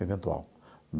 Eventual.